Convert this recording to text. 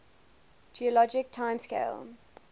geologic time scale